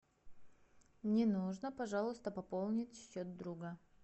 мне нужно пожалуйста пополнить счет друга